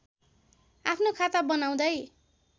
आफ्नो खाता बनाउँदै